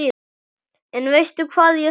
En veistu hvað ég þarf.